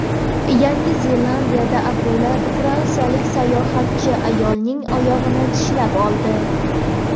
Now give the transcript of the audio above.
Yangi Zelandiyada akula fransiyalik sayohatchi ayolning oyog‘ini tishlab oldi.